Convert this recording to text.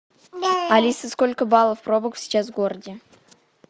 алиса сколько баллов пробок сейчас в городе